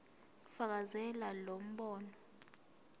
fakazela lo mbono